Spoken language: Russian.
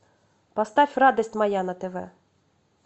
поставь радость моя на тв